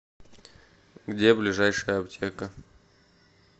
где ближайшая аптека